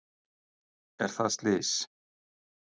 Er það slys?